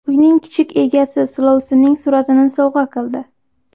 Uyning kichik egasi silovsinning suratini sovg‘a qildi.